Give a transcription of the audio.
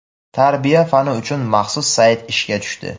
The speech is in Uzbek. "Tarbiya" fani uchun maxsus sayt ishga tushdi.